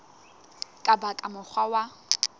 ka ba ka mokgwa wa